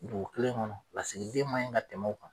Dugu kelen kɔnɔ lasigiden ma ɲi kan tɛmɛ o kan.